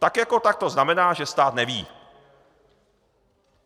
Tak jako tak to znamená, že stát neví.